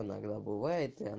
иногда бывает